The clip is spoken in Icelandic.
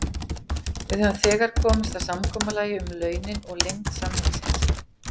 Við höfum þegar komist að samkomulagi um launin og lengd samningsins.